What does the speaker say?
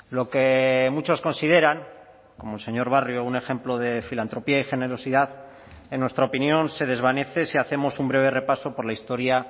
lo que muchos consideran como el señor barrio un ejemplo de filantropía y generosidad en nuestra opinión se desvanece si hacemos un breve repaso por la historia